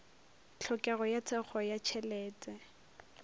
tlhokego ya thekgo ya tšhelete